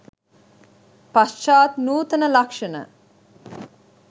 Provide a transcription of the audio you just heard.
පශ්චාත් නූතන ලක්ෂණ